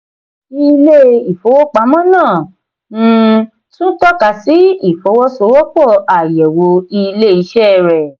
ilé ìfowópamọ́ náà um tún tọ́ka sí ìfọwọ́sowọ́pọ̀ àyẹ̀wò ilé-iṣẹ́ rẹ̀.